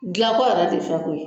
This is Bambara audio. Dilanko yɛrɛ tɛ fɛn k'o ye